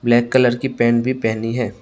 Black colour की pant भी पहनी है।